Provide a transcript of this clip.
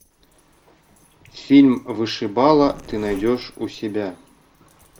фильм вышибала ты найдешь у себя